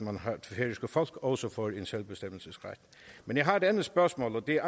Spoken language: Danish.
færøske folk også får en selvbestemmelsesret men jeg har et andet spørgsmål og det